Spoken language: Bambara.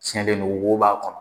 Sɛnnen do wo b'a kɔnɔ.